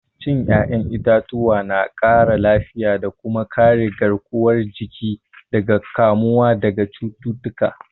Cin 'ya'yan itatuwa na ƙara lafiya da kuma kare garkuwar jiki daga kamuwa daga cututtuka.